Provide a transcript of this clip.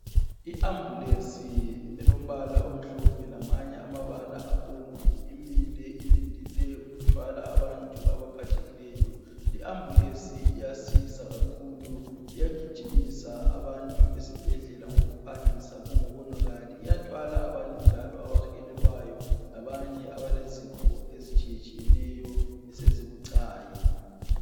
I Ambulesi elombala omhlophe lamanye amabala abomvu imile ilindele ukuthwala abantu abaphathekileyo. I Ambulance iyasiza kakhulu iyagijimisa abantu esibhedlela ngokuphangisa kungakawonakali ,iyathwala abantu njalo abahelelwayo labanye abalezifo ezitshiyetshiyeneyo esezibucayi.